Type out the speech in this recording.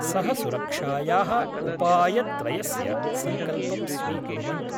सह सुरक्षाया: उपायत्रयस्य सङ्कल्पं स्वीकुर्वन्तु